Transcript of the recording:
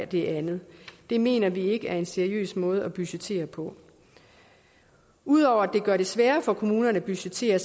det andet det mener vi ikke er en seriøs måde at budgettere på ud over at det gør det sværere for kommunerne at budgettere